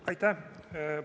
Aitäh!